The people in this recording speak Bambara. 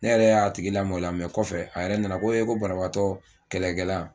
Ne yɛrɛ y'a tigi lamoloya mɛ kɔfɛ a yɛrɛ nana ko ko banabagatɔ kɛlɛkɛla